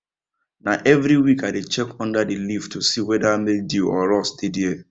na every week i dey check under the leaf to see whether mildew or rust dey there